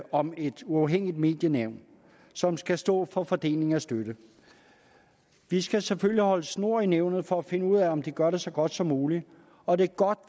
om et uafhængigt medienævn som skal stå for fordeling af støtte vi skal selvfølgelig holde snor i nævnet for at finde ud af om de gør det så godt som muligt og det er godt